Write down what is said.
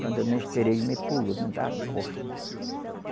Quando eu nem esperei, ele me pulou dentro da costa.